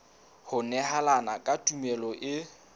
ho nehelana ka tumello e